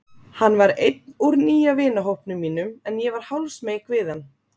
Hann var einn úr nýja vinahópnum mínum en ég var hálfsmeyk við hann.